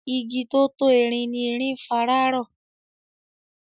Igi tó tó erin ni erin ń fara rọ.